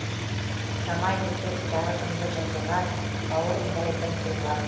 жамайды кеп жарығымды жыртылған бауырымдай бір туған